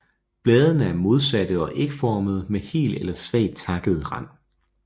Bladene er modsatte og ægformede med hel eller svagt takket rand